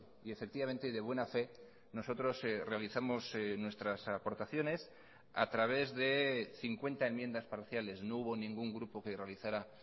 y efectivamente de buena fe nosotros realizamos nuestras aportaciones a través de cincuenta enmiendas parciales no hubo ningún grupo que realizara